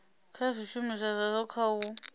kha zwishumiswa zwazwo kha u